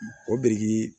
O biriki